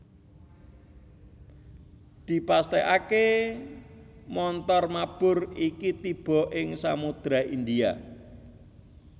Dipastèkaké montor mabur iki tiba ing Samudra India